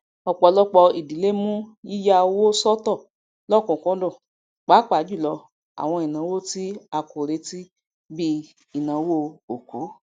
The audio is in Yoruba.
ọpọlọpọ ìdílé mú yíya owó sọtọ lọkùnkúndùn pápájùlọ àwọn ìnáwó tí a kò retí bi ìnáwó òkú